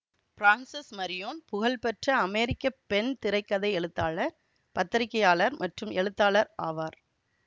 பிரான்சஸ் Marion புகழ்பெற்ற அமெரிக்க பெண் திரை கதை எழுத்தாளர் பத்திரிகையாளர் மற்றும் எழுத்தாளர் ஆவார்